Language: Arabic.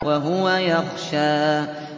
وَهُوَ يَخْشَىٰ